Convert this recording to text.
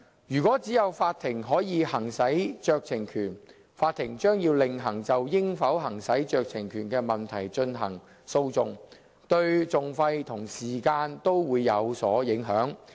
如果只有法庭可以行使酌情權，法庭將要另行就應否行使酌情權的問題進行訴訟，對訟費和時間均會有所影響。